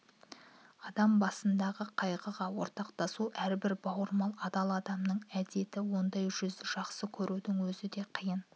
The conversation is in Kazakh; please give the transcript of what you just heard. адам басындағы қайғыға ортақтасу әрбір бауырмал адал адамның әдеті ондай жүзді жақсы көрудің өзі де қиын